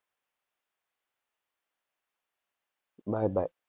Bye bye.